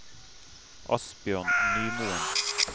Asbjørn Nymoen